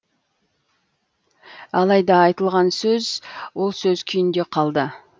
алайда айтылған сөз сол сөз күйінде қалды